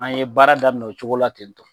An ye baara daminɛ o cogo la ten to